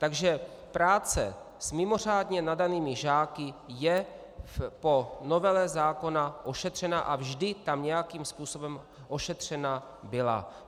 Takže práce s mimořádně nadanými žáky je po novele zákona ošetřena a vždy tam nějakým způsobem ošetřena byla.